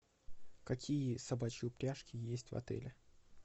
какие собачьи упряжки есть в отеле